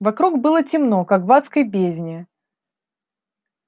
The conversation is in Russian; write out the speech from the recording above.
вокруг было темно как в адской бездне